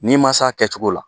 N'i ma se a kɛcogo la